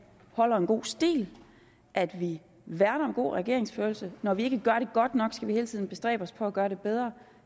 holder en god stil at vi værner om god regeringsførelse når vi ikke gør det godt nok skal vi hele tiden bestræbe os på at gøre det bedre